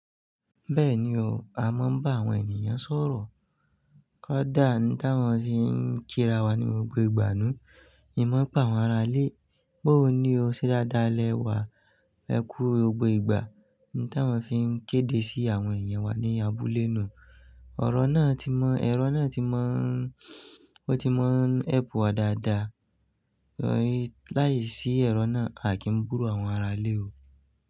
Bẹ́ẹ̀ni o, a máa ń bá àwọn ènìyàn sọ̀rọ̀. Kódà ní tí wọ́n fi ń kí ra wa ní gbogbo ìgbà náà, èmo pa àwọn ará ilé. Bó ó ní o ṣe dáadáa lẹ́wà ẹkú gbogbo ìgbà. Ní tí awọ́n fi ń kéde sí àwọn èniyàn wa ní abúlé náà. Ọ̀rọ̀ náà ti mọ, ẹ̀rọ náà ti mọ, ó ti mọ ń ẹ́pù wa dáadáa. Láyé sí ẹ̀rọ náà, a kì í búru àwọn ará ilé o.